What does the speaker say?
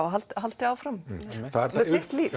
og haldi áfram með sitt líf